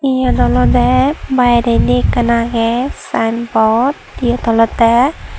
iyot olodey biyredi ekkan agey sign board siyot oledey.